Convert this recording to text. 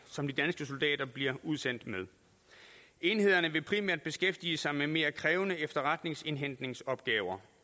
som de danske soldater bliver udsendt med enhederne vil primært beskæftige sig med mere krævende efterretningsindhentningsopgaver